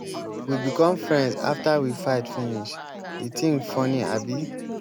we become friends after we fight finish. the thing funny abi.